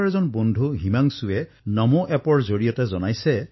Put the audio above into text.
make in India যাতে সৰ্বত্ৰ প্ৰচাৰিত হয় তাৰবাবে সকলোৱে দৃঢ় সংকল্প গ্ৰহণ কৰিছে